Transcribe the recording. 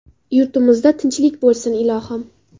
Yurtimizda tinchlik bo‘lsin, ilohim.